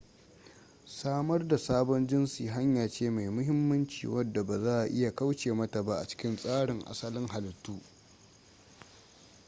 samar da sabon jinsi hanya ce mai mahimmanci wadda ba za'a iya kauce mata ba a cikin tsarin asalin halittu